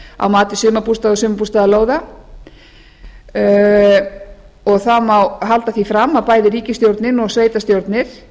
á mati sumarbústaða og sumarbústaðalóða það má halda því fram að bæði ríkisstjórnin og sveitarstjórnir